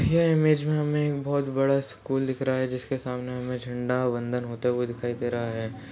ये इमेज में हमें बहोत बड़ा स्कूल दिख रहा है जिसके सामने हमें झंडा वन्दन होते हुए दिखाई दे रहा है।